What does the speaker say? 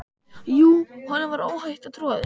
Jú, honum var óhætt að trúa þessu!